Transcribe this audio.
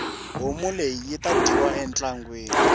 homu leyi yita dyiwa ntlangwini